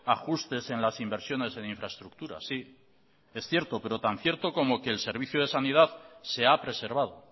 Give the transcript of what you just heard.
ajustes en las inversiones en infraestructuras es cierto pero tan cierto como que el servicio de sanidad se ha preservado